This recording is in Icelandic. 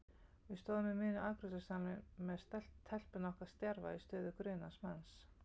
Við stóðum í miðjum afgreiðslusalnum með telpuna okkar stjarfa í stöðu grunaðs manns.